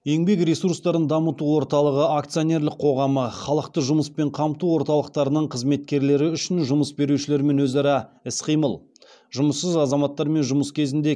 еңбек ресурстарын дамыту орталығы акционерлік қоғамы халықты жұмыспен қамту орталықтарының қызметкерлері үшін жұмыс берушілермен өзара іс қимыл жұмыссыз азаматтармен жұмыс кезінде